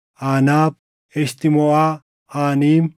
Aanaab, Eshitmoʼaa, Aaniim,